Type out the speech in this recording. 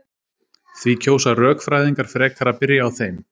Því kjósa rökfræðingar frekar að byrja á þeim.